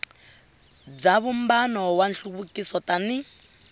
bya vumbano wa nhluvukiso tani